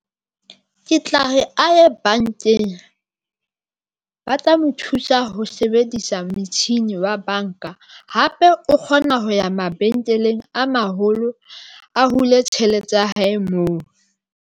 Ke tla re a ye bankeng, ba tla mo thusa ho sebedisa metjhini wa banka hape o kgona ho ya mabenkeleng a maholo, a hule tjhelete ya hae moo.